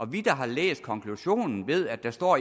vi der har læst konklusionen ved at der står